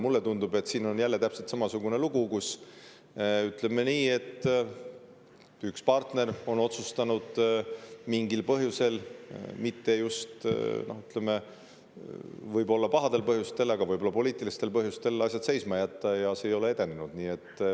Mulle tundub, et siin on jälle täpselt samasugune lugu, kus, ütleme nii, üks partner on otsustanud mingil põhjusel, mitte just võib-olla pahal põhjusel, aga võib-olla poliitilisel põhjusel, asja seisma jätta ja see ei ole edenenud.